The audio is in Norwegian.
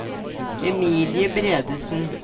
Emilie Bredesen